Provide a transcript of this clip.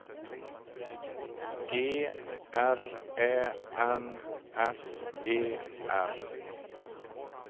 G R Ä N S E R